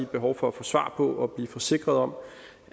behov for at få svar på at blive forsikret om